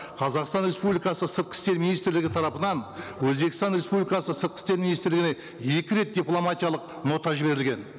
қазақстан республикасы сыртқы істер министрлігі тарапынан өзбекстан республикасы сыртқы істер министрлігіне екі рет дипломатиялық нота жіберілген